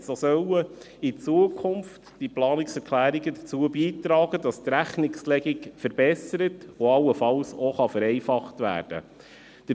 Sie sollen in Zukunft dazu beitragen, dass die Rechnungslegung verbessert und allenfalls vereinfacht werden kann.